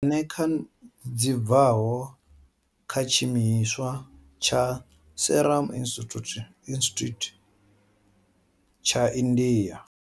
Eneca dzi bvaho kha tshiimiswa tsha Serum Institute tsha India.